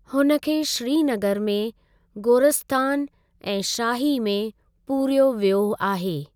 हुन खे श्रीनगर में गोरस्तान ए शाही में पूरियो वियो आहे।